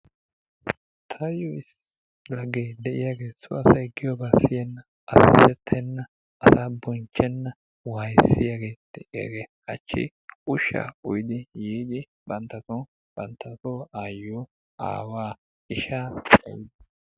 Taayo issi lagge de'iyaagee so asay giyoobaa siyenna azzazettenna, asaa bonchchenna wayssiyaagee de'iyaagee hachchi ushshaa uyiid yiidi banttasoon banttaso aayiyoo, aawaa, ishshaa, cayiis.